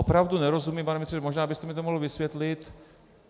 Opravdu nerozumím, pane ministře, možná byste mi to mohl vysvětlit.